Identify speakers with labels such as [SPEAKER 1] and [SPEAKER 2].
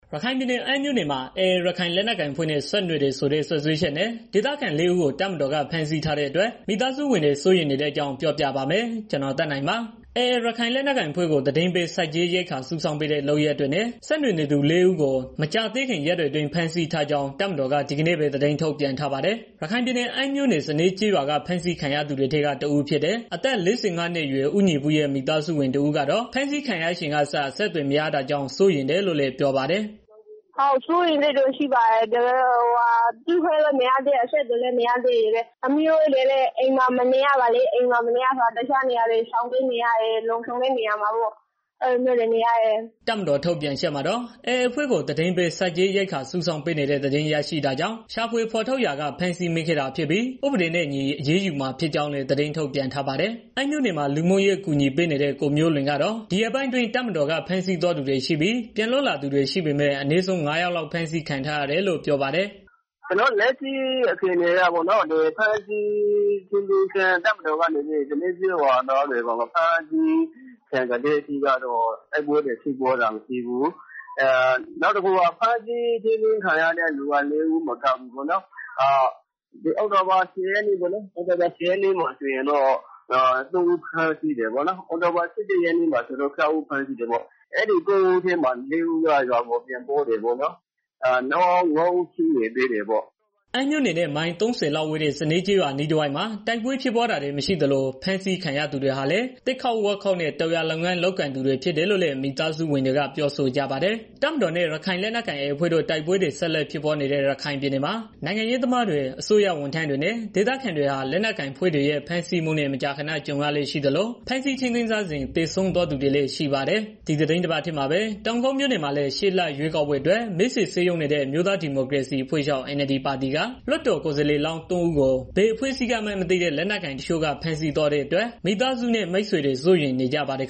[SPEAKER 1] ရခိုင်ပြည်နယ် အမ်းမြို့နယ်မှာ AA ရခိုင်လက်နက်ကိုင်အဖွဲ့နဲ့ ဆက်နွယ်တယ်ဆိုတဲ့ စွပ်စွဲချက်နဲ့ ဒေသခံ ၄ဦးကို တပ်မတော်က ဖမ်းဆီးထားတဲ့အတွက် မိသားစုဝင်တွေ စိုးရိမ်နေတဲ့ အကြောင်း ကိုသက်နိုင် ပြောပြပါမယ်။ AA ရခိုင်လက်နက်ကိုင်အဖွဲ့ကို သတင်းပေး၊ ဆက်ကြေးရိက္ခာစုဆောင်းပေးတဲ့ လုပ်ရပ်တွေနဲ့ ဆက်နွယ်နေသူ လူ ၄ ဦးကို မကြာသေးခင် ရက်တွေအတွင်း ဖမ်းဆီးထားကြောင်း တပ်မတော်က ဒီကနေ့ပဲ သတင်းထုတ်ပြန်ထားပါတယ်။ ရခိုင်ပြည်နယ် အမ်းမြို့နယ် စနဲကျေးရွာက ဖမ်းဆီးခံခဲ့ရသူတွေထဲက တဦးဖြစ်တဲ့ အသက် ၄၅နှစ်အရွယ် ဦးညီပုရဲ့ မိသားစုဝင်တဦးကတော့ ဖမ်းဆီးခံရချိန်ကစ အဆက်အသွယ်မရတာကြောင့် စိုးရိမ်တယ်လို့ ပြောပါတယ်။ "
[SPEAKER 2] စိုးရိမ်စိတ်တော့ ရှိတယ် အခုအချိန်ထိ တွေ့ခွင့်လည်းမရသေး အဆက်အသွယ်လေးမရသေး။ ပြီးတော့ သမီးတို့လည်း အိမ်မှာနေလို့ မရဘူးဖြစ်နေတယ်။ တစ်ခြာနေရာတွေ ရှောင်ပြေးနေရတယ်။ လုံခြုံတဲ့နေရာတွေကို အဲလိုမျိုးတွေ နေရတယ်။
[SPEAKER 1] " တပ်မတော် ထုတ်ပြန်ချက်မှာတော့ AAအဖွဲ့ကို သတင်းပေး၊ ဆက်ကြေးရိက္ခာစုဆောင်းပေးနေတဲ့ သတင်းရရှိတာကြောင့် ရှာဖွေဖော်ထုတ်ရာက ဖမ်းဆီးမိခဲ့တာဖြစ်ပြီး ဥပဒေနဲ့အညီအရေးယူမှာ ဖြစ်ကြောင်းလည်း သတင်းထုတ်ပြန်ထားပါတယ်။ အမ်းမြို့နယ်မှာ လူမှုရေးအကူအညီပေးနေတဲ့ ကိုမျိုးလွင်းကတော့ ဒီရက်ပိုင်းအတွင်း တပ်မတော်က ဖမ်းဆီးသွားသူတွေရှိပြီး၊ ပြန်လွတ်လာသူတွေ ရှိပေမဲ့ အနည်းဆုံး ၅ ယောက် ဖမ်းဆီးခံထားရတယ်လို့ ပြောပါတယ်။
[SPEAKER 2] " လက်ရှိအခြေအနေအရတော့ တပ်မတော်ကနေပြီးတော့ စနဲကျေးရွာသားတွေကို ဖမ်းဆီး ထိန်းသိမ်းတဲ့အချိန်ကတည်းက တိုက်ပွဲတွေ မရှိဘူး။ နောက်ပြီးတော့ ဖမ်းဆီးထိန်းသိမ်း ခြင်းခံရတဲ့ သူကတော့ လေးဦးမကဘူး အောက်တိုဘာ ၁၀ရက်နေ့က သုံးယောက်ဖမ်းတယ်။ နောက်ပြီးတော့ အောက်တိုဘာ ၁၂ရက်နေ့က ၆ယောက်ဖမ်းတယ်။ အဲဒီ ၉ဦးထဲမှာ လေးယောက်ကတော့ရွာကို ပြန်ရောက်တယ်။ နောက်ငါးယောက် ကျန်နေသေးတာပေါ့နော်။
[SPEAKER 1] " အမ်းမြို့နယ်နဲ့ မိုင်သုံးဆယ်လောက်ဝေးတဲ့ စနဲကျေးရွာအနီးတဝိုက်မှာ တိုက်ပွဲဖြစ်ပွားတာတွေ မရှိသလိုဖမ်းဆီးခံရ သူတွေဟာလည်း သစ်ခုတ်ဝါးခုတ်နဲ့ တောင်ယာလုပ်ငန်း လုပ်ကိုင်သူတွေ ဖြစ်တယ်လို့လည်း မိသားစုဝင်တွေက ပြောဆိုကြပါတယ်။ တပ်မတော်နဲ့ ရခိုင်လက်နက်ကိုင် AA အဖွဲ့တို့ တိုက်ပွဲတွေ ဆက်လက်ဖြစ်ပွားနေတဲ့ ရခိုင်ပြည်နယ်မှာ နိုင်ငံရေးသမားတွေ၊ အစိုးရဝန်ထမ်းတွေနဲ့ ဒေသခံတွေဟာ လက်နက်ကိုင်အဖွဲ့တွေရဲ့ ဖမ်းဆီးမှုနဲ့ မကြာခဏ ကြုံရလေ့ရှိသလို၊ ဖမ်းဆီးထိန်းသိမ်းထားစဉ် သေဆုံးသွားတွေလည်း ရှိပါတယ်။ ဒီသီတင်းပတ်ထဲမှာပဲ တောင်ကုတ်မြို့နယ်မှာလည်း ရှေ့လရွေးကောက်ပွဲအတွက် မဲဆွယ်စည်းရုံးနေတဲ့ အမျိုးသားဒီမိုကရေစီအဖွဲ့ချုပ် (NLD) ပါတီက ကိုယ်စားလှယ်လောင်း ၃ ဦးကို ဘယ်အဖွဲ့ကမှန်းမသိတဲ့ လက်နက်ကိုင်တချို့က ဖမ်းဆီးသွားတဲ့အတွက် မိသားစုနဲ့ မိတ်ဆွေတွေ စိုးရိမ်
[SPEAKER 2] နေကြပါတယ်